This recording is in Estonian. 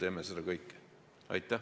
Aitäh!